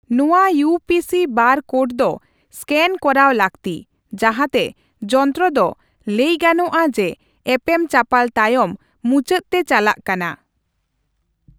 ᱱᱚᱣᱟ U P C bar code ᱫᱚ ᱤᱥᱠᱮᱱ ᱠᱚᱨᱟᱣ ᱞᱟᱹᱠᱛᱤ, ᱡᱟᱦᱟᱸᱛᱮ ᱡᱚᱱᱛᱨᱚ ᱫᱚ ᱞᱟᱹᱭ ᱜᱟᱱᱚᱜᱼᱟ ᱡᱮ ᱮᱯᱮᱢᱪᱟᱯᱟᱞ ᱛᱟᱭᱚᱢ ᱢᱩᱪᱟᱹᱫ ᱛᱮ ᱪᱟᱞᱟᱜ ᱠᱟᱱᱟ ᱾